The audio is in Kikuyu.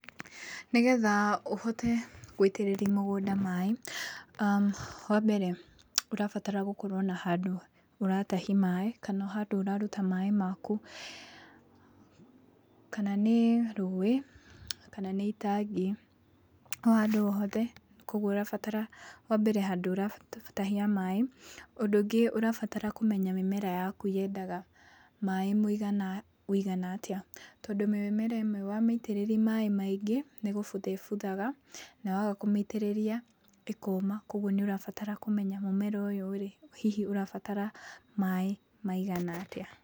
Nĩgetha ũhote gũitĩrĩria mũgũnda maĩ, wambere ũrabatara gũkorwo na handũ ũratahii maĩ, kana handũ ũraruta maĩ maku, kna nĩ rũĩ, kana nĩ itangi, o handũ o hothe koguo ũrabatara wambere handũ ũratahia maĩ, ũndũ ũngĩ ũrabatara kũmenya mĩmera yaku yendaga maĩ mũigana wũigana atĩa, tondũ mĩmera ĩmwe wamĩitĩrĩria maĩ maingĩ nĩ gũbutha ĩbuthaga, na waga kũmĩitĩrĩria ĩkoma koguo nĩ ũrabatara kũmenya mũmera ũyũ rĩ, hihi ũrabatara maĩ maigana atĩa.